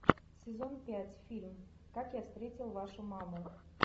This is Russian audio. сезон пять фильм как я встретил вашу маму